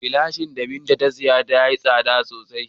Lashin da Binta ta sa ya yi tsada sosai.